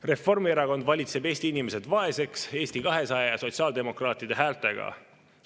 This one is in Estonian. Reformierakond valitseb Eesti inimesed vaeseks Eesti 200 ja sotsiaaldemokraatide häältega.